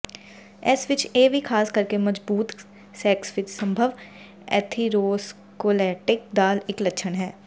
ਇਸ ਵਿਚ ਇਹ ਵੀ ਖਾਸ ਕਰਕੇ ਮਜਬੂਤ ਸੈਕਸ ਵਿੱਚ ਸੰਭਵ ਐਥੀਰੋਸਕਲੇਰੋਟਿਕ ਦਾ ਇੱਕ ਲੱਛਣ ਹੈ